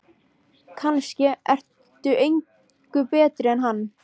Kannske ertu engu betri en hann.